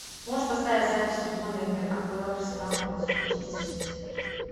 можешь поставить запись футбольной игры апл арсенал против манчестер сити